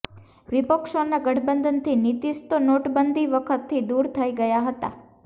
વિપક્ષોનાં ગઠબંધનથી નીતીશ તો નોટબંધી વખતથી દૂર થઈ ગયા હતા